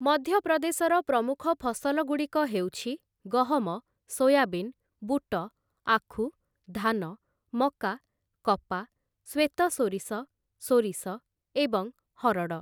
ମଧ୍ୟପ୍ରଦେଶର ପ୍ରମୁଖ ଫସଲଗୁଡ଼ିକ ହେଉଛି ଗହମ, ସୋୟାବିନ୍, ବୁଟ, ଆଖୁ, ଧାନ, ମକା, କପା, ଶ୍ଵେତସୋରିଷ, ସୋରିଷ ଏବଂ ହରଡ଼ ।